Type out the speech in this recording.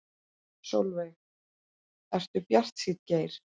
Sólveig: Ertu bjartsýnn Geir?